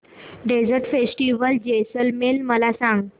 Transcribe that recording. desert festival Jaisalmer मला सांग